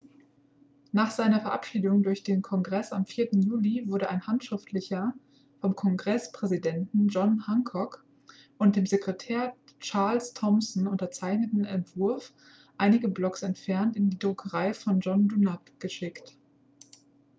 nach seiner verabschiedung durch den kongress am 4. juli wurde ein handschriftlicher vom kongresspräsidenten john hancock und dem sekretär charles thomson unterzeichneter entwurf einige blocks entfernt in die druckerei von john dunlap geschickt